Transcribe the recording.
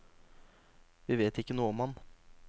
Vi vet ikke noe om ham.